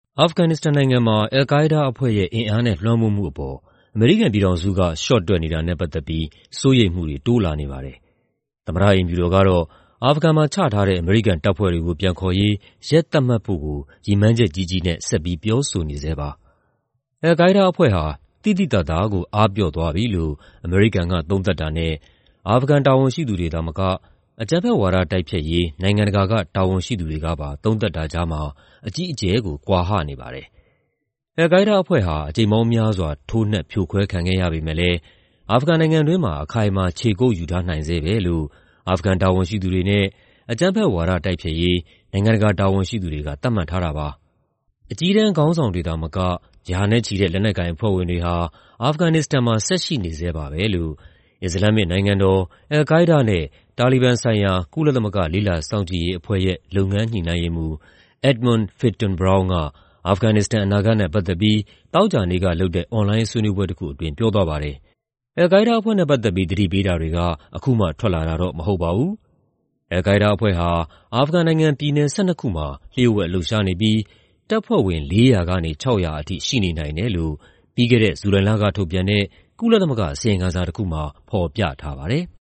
အာဖဂန်နစ္စတန်နိုင်ငံမှာ al-Qaida အဖွဲ့ရဲ့ အင်အားနဲ့ လွှမ်းမိုးမှုအပေါ် အမေရိကန်ပြည်ထောင်စုက လျှော့တွက်နေတာနဲ့ ပတ်သက်ပြီး စိုးရိမ်မှုတွေ တိုးလာနေပါတယ်။ သမ္မတအိမ်ဖြူတော်ကတော့ အာဖဂန်မှာချထားတဲ့ အမေရိကန်တပ်ဖွဲ့တွေကို ပြန်ခေါ်ရေး ရက်သတ်မှတ်ဖို့ကို ရည်မှန်းချက်ကြီးကြီးနဲ့ ဆက်ပြီး ပြောဆိုနေဆဲပါ။ al-Qaida အဖွဲ့ဟာ သိသိသာသာကို အားပျော့သွားပြီလို့ အမေရိကန်က သုံးသပ်တာနဲ့ အာဖဂန်တာဝန်ရှိသူတွေသာမက အကြမ်းဖက်ဝါဒ တိုက်ဖျက်ရေး နိုင်ငံတကာက တာဝန်ရှိသူတွေကပါ သုံးသပ်တာကြားမှာ အကြီးအကျယ်ကို ကွာဟနေပါတယ်။ al-Qaida အဖွဲ့ဟာ အကြိမ်ပေါင်းများစွာ ထိုးနှက် ဖြိုခွဲခံခဲ့ရပေမယ့်လည်း အာဖဂန်နိုင်ငံတွင်းမှာ အခိုင်အမာ ခြေကုပ်ယူထားနိုင်ဆဲပဲလို့ အာဖဂန်တာဝန်ရှိသူတွေနဲ့ အကြမ်းဖက်ဝါဒ တိုက်ဖျက်ရေး နိုင်ငံတကာ တာဝန်ရှိသူတွေက သတ်မှတ်ထားတာပါ။ "အကြီးတန်းခေါင်းဆောင်တွေသာမက ရာနဲ့ချီတဲ့ လက်နက်ကိုင်အဖွဲ့ဝင်တွေဟာ အာဖဂန်နစ္စတန်မှာ ဆက်ရှိနေဆဲပါပဲ" လို့ အစ္စလာမ္မစ်နိုင်ငံတော်၊ al-Qaida နဲ့ တာလီဘန်ဆိုင်ရာ ကုလသမဂ္ဂ လေ့လာစောင့်ကြည့်ရေးအဖွဲ့ရဲ့ လုပ်ငန်းညှိနှိုင်းရေးမှူး Edmund Fitton-Brown က အာဖဂန်နစ္စတန် အနာဂတ်နဲ့ ပတ်သက်ပြီး သောကြာနေ့ကလုပ်တဲ့ အွန်လိုင်းဆွေးနွေးပွဲအတွင်း ပြောသွားပါတယ်။ al-Qaida အဖွဲ့နဲ့ပတ်သက်ပြီး သတိပေးတာတွေက အခုမှထွက်လာတာတော့ မဟုတ်ပါဘူး။ al-Qaida အဖွဲ့ဟာ အာဖဂန်နိုင်ငံ ပြည်နယ် ၁၂ ခုမှာ လျှို့ဝှက်လှုပ်ရှားနေပြီး တပ်ဖွဲ့ဝင် ၄၀၀ ကနေ ၆၀၀ ထိ ရှိနေနိုင်တယ်လို့ ပြီးခဲ့တဲ့ ဇူလိုင်လက ထုတ်ပြန်တဲ့ ကုလသမဂ္ဂ အစီရင်ခံစာတခုမှာ ဖော်ပြထားပါတယ်။